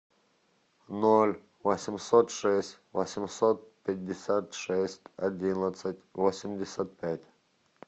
ноль восемьсот шесть восемьсот пятьдесят шесть одиннадцать восемьдесят пять